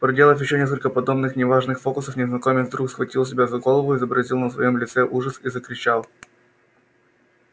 проделав ещё несколько подобных неважных фокусов незнакомец вдруг схватил себя за голову изобразил на своём лице ужас и закричал